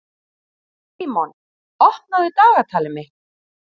Símon, opnaðu dagatalið mitt.